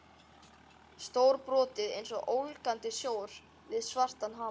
Stórbrotið einsog ólgandi sjór við svartan hamar.